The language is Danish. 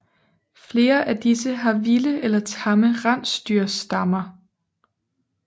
Flere af disse har vilde eller tamme rensdyrstammer